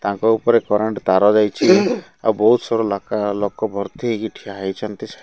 ତାଙ୍କ ଉପରେ କରେଣ୍ଟ ତାର ଯାଇଛି। ଆଉ ବହୁତ୍ ସାରା ଲାକା ଲୋକ ଭର୍ତ୍ତି ହେଇକି ଠିଆ ହେଇଛନ୍ତି।